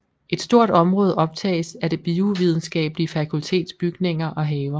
Et stort område optages af Det Biovidenskabelige Fakultets bygninger og haver